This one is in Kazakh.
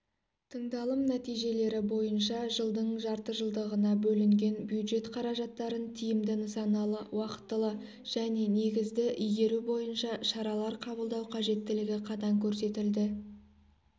тындалым нәтижелері бойынша жылдың жартыжылдығына бөлінген бюджет қаражаттарын тиімді нысаналы уақтылы және негізді игеру бойынша шаралар қабылдау қажеттілігі қатаң көрсетілді